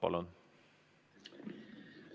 Palun!